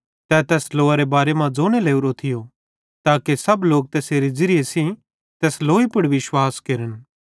तै तैस लोअरे बारे मां ज़ोने ओरो थियो ताके सब लोक तैसेरे ज़िरिये सेइं तैस लोई पुड़ विश्वास केरन